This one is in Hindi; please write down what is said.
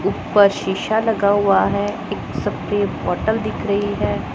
ऊपर शीशा लगा हुआ है एक सफेद बॉटल दिख रही है।